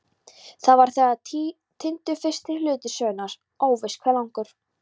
Þá var þegar týndur fyrsti hluti sögunnar, óvíst hve langur.